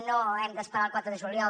no hem d’esperar al quatre de juliol